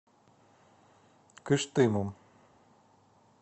кыштымом